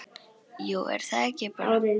Jú, er það ekki bara?